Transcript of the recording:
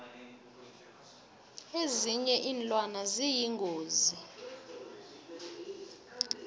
ezinye iinlwane ziyingozi